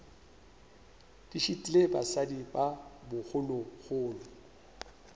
di šitile basadi ba bogologolo